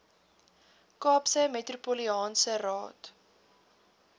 kaapse metropolitaanse raad